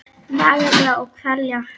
Naga mig og kvelja.